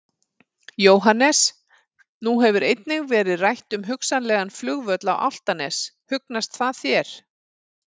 Jóhannes: Nú hefur einnig verið rætt um hugsanlegan flugvöll á Álftanes, hugnast það þér?